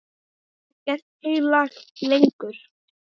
Er ekkert heilagt lengur?